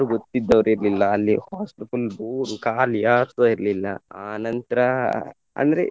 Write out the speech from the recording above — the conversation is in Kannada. ಗೊತ್ತಿದ್ದವರು ಇರ್ಲಿಲ್ಲ ಅಲ್ಲಿ hostel full bore ಉ ಕಾಲಿ ಯಾರ್ಸ ಇರ್ಲಿಲ್ಲ ಆನಂತರ ಅಂದ್ರೆ.